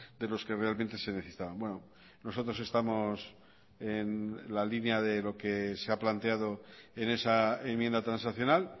de los que realmente se necesitaban bueno nosotros estamos en la línea de lo que se ha planteado en esa enmienda transaccional